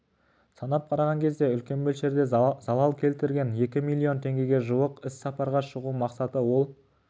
санап қараған кезде үлкен мөлшерде залал келтірген екі миллион теңгеге жуық іссапарға шығу мақсаты ол